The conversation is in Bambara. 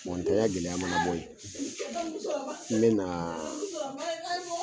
Mɔgɔ tanya gɛlɛya mana bɔ yen n bena